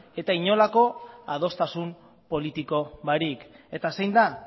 eta inolako adostasun politiko barik eta zein da